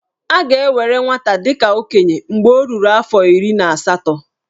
A ga-ewere nwata dị ka okenye mgbe o ruru afọ iri na asatọ.